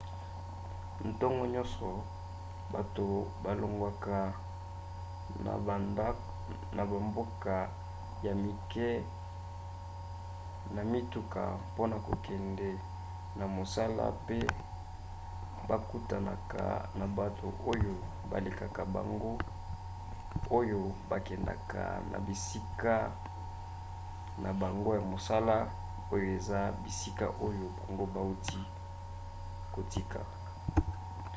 ntongo nyonso bato balongwaka na bamboka ya mike na mituka mpona kokende na mosala pe bakutanaka na bato oyo balekaka bango oyo bakendaka na bisika na bango ya mosala oyo eza bisika oyo bango bauti kotika